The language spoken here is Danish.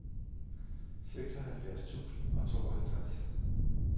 seksoghalvfjerds tusind og tooghalvtreds